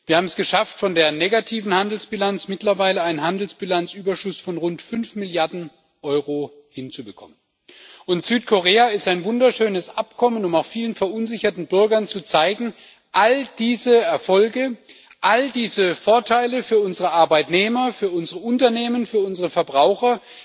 Wir haben es geschafft, von einer negativen Handelsbilanz mittlerweile einen Handelsbilanzüberschuss von rund fünf Milliarden Euro hinzubekommen. Das Abkommen mit Südkorea ist ein wunderschönes Abkommen, um auch vielen verunsicherten Bürgern zu zeigen All diese Erfolge, all diese Vorteile für unsere Arbeitnehmer, für unser Unternehmen und für unsere Verbraucher